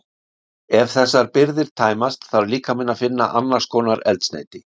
Ef þessar birgðir tæmast þarf líkaminn að finna annars konar eldsneyti.